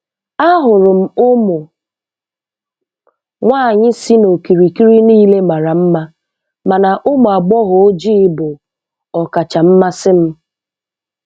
Ahụrụ m ụmụ nwanyị si n'okirikiri niile mara mma, mana ụmụ agbọghọ ojii bụ "ọkacha mmasị" m.